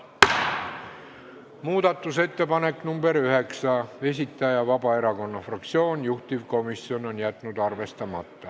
Muudatusettepaneku nr 9 esitaja on Vabaerakonna fraktsioon, juhtivkomisjon on jätnud arvestamata.